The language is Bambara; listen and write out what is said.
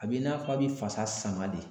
A b'i n'a fɔ a bɛ fasa sama de